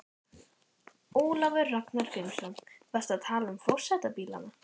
Ólafur Ragnar Grímsson: Varstu að tala um forsetabílana?